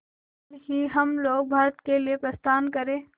कल ही हम लोग भारत के लिए प्रस्थान करें